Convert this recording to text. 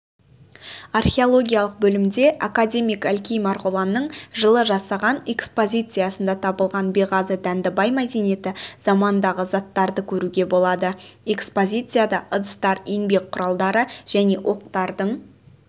археологиялық бөлімде академик әлкей марғұланның жылы жасаған экпедициясында табылған беғазы-дәндібай мәдениеті заманындағы заттарды көруге болады экспозицияда ыдыстар еңбек құралдары және оқтардың